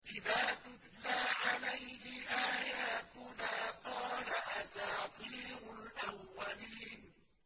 إِذَا تُتْلَىٰ عَلَيْهِ آيَاتُنَا قَالَ أَسَاطِيرُ الْأَوَّلِينَ